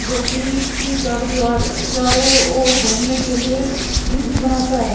जो कि इसकी चारो दीवार चारो ओर घूमने के लिए इजी बनाता है।